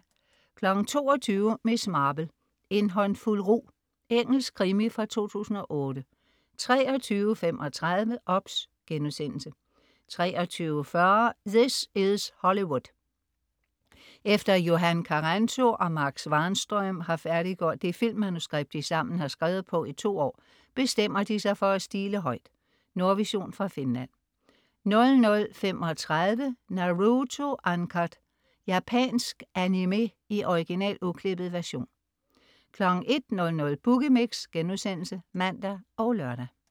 22.00 Miss Marple: En håndfuld rug. Engelsk krimi fra 2008 23.35 OBS* 23.40 This is Hollywood. Efter Johan Karrento og Marc Svahnström har færdiggjort det filmmanuskript, de sammen har skevet på i to år, bestemmer de sig for at stile højt.Nordvision fra Finland 00.35 Naruto Uncut. Japansk animé i original, uklippet version 01.00 Boogie Mix* (man og lør)